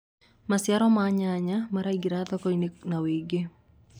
maciaro ma nyanya maraingira thoko-inĩ na wũingi